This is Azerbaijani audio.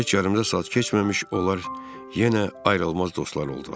Heç yarımdasaat keçməmiş onlar yenə ayrılmaz dostlar oldular.